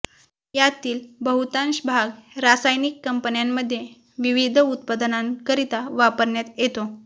यातील बहुतांश भाग रासायनिक कंपन्यांमध्ये विविध उत्पादनांकरिता वापरण्यात येतो